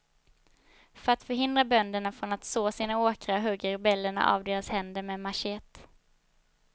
För att förhindra bönderna från att så sina åkrar hugger rebellerna av deras händer med machete.